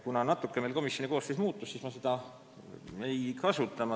Kuna natuke komisjoni koosseis muutus, siis ma seda seekord välja ei too.